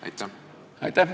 Aitäh!